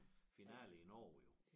Finale i Norge jo